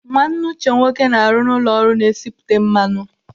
Nwanne Uche nwoke na-arụ n'ụlọ ọrụ na-esipụta mmanụ.